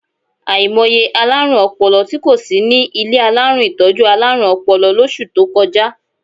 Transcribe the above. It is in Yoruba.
Àìmọye alárùn ọpọlọ tí kò sí ní ilé alárùn ìtọ́jú alárùn ọpọlọ lóṣù tó kọjá.